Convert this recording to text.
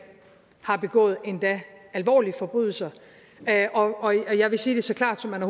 har begået endda alvorlige forbrydelser og jeg vil sige det så klart som man